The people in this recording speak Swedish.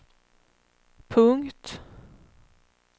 punkt